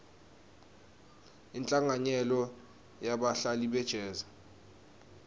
inhlanganyelo yebahlabeleli be jazz